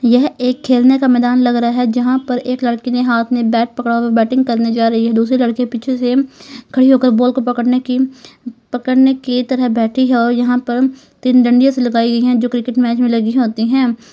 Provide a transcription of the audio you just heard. यह एक खेलने का मैदान लग रहा है जहां पर एक लड़की ने हाथ में बैट पकड़ा हुआ है बैटिंग करने जा रही है दूसरी लड़की पीछे से खड़ी होकर बॉल पकड़ने की पकड़ने की तरह बैठी है और यहां पर तीन डांडिया सी लगाई गई है जो क्रिकेट मैच में लगी होती हैं।